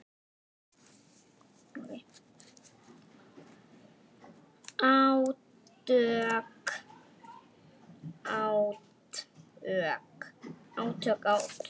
Átök, átök.